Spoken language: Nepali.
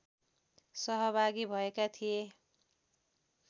सहभागी भएका थिए